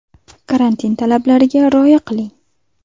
Karantin talablariga rioya qiling.